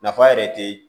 Nafa yɛrɛ te